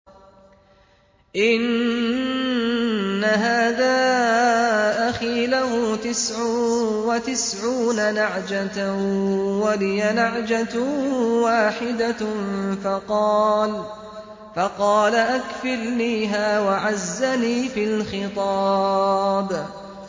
إِنَّ هَٰذَا أَخِي لَهُ تِسْعٌ وَتِسْعُونَ نَعْجَةً وَلِيَ نَعْجَةٌ وَاحِدَةٌ فَقَالَ أَكْفِلْنِيهَا وَعَزَّنِي فِي الْخِطَابِ